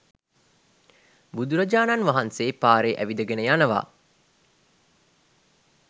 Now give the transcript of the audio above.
බුදුරජාණන් වහන්සේ පාරේ ඇවිදගෙන යනවා.